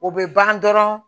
O bɛ ban dɔrɔn